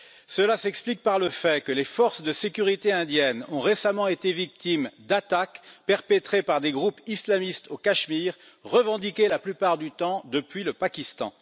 Cela s'explique par le fait que les forces de sécurité indiennes ont récemment été victimes d'attaques perpétrées par des groupes islamistes au Cachemire, revendiquées la plupart du temps depuis le Pakistan.